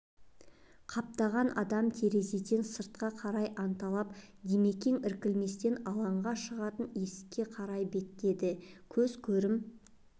қаптаған адам терезеден сыртқа қарайды анталап димекең іркілместен алаңға шығатын есікке қарай беттеді көз көрім